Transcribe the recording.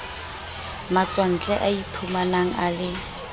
matswantle a iphumanang a le